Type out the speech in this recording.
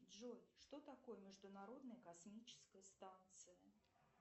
джой что такое международная космическая станция